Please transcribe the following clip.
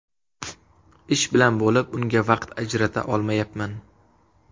Ish bilan bo‘lib unga vaqt ajrata olmayapman.